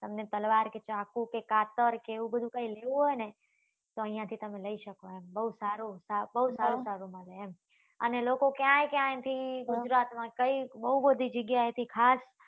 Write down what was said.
તમને તલવાર કે ચાકુ કે કાતર કે એવું બધું કઈ લેવું હોય ને તો અહિયાં થી તમે લઇ શકો એમ બઉ સારું સારું મળે એમ અને લોકો ક્યાય ક્યાય થી ગુજરાત માં કઈ બઉ બધી જગ્યા એ થી ખાસ